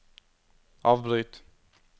avbryt